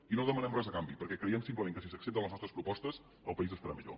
i no demanem res a canvi perquè creiem simplement que si s’accepten les nostres propostes el país estarà millor